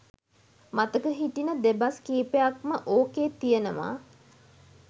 මතක හිටින දෙබස් කීපයක් ම ඕකේ තියනවා.